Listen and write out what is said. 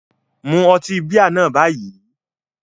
Mu ọtí bíà náà báyìí